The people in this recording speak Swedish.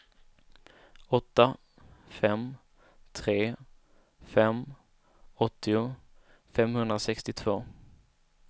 åtta fem tre fem åttio femhundrasextiotvå